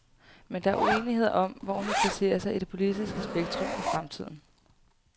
Men der er uenighed om, hvor hun vil placere sig i det politiske spektrum i fremtiden.